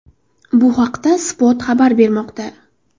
Bu haqda Spot xabar bermoqda .